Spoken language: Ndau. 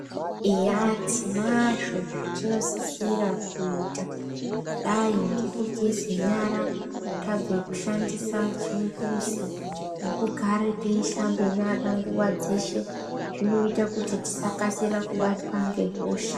Eya tinazvo zvetinosisira kuita kudai ngekugeze nyara tabve kushandisa chimbuzi nekugare teishambe nyara nguwa dzeshe zvinoita kuti tisakasira kubatwa ngehosha.